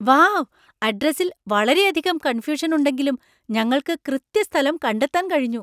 Wow! അഡ്രസ്സില്‍ വളരെയധികം confusion‍ ഉണ്ടെങ്കിലും ഞങ്ങള്‍ക്ക് കൃത്യ സ്ഥലം കണ്ടെത്താൻ കഴിഞ്ഞു.